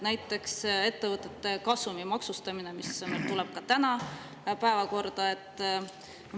Näiteks ettevõtete kasumi maksustamine, mis meil täna päevakorda tuleb.